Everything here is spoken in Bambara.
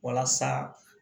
Walasa